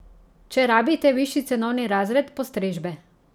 Če rabite višji cenovni razred postrežbe ...